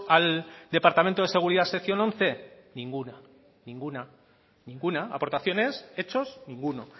al departamento de seguridad sección once ninguna ninguna ninguna aportaciones hechos ninguno